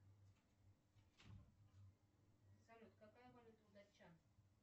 салют какая валюта у датчан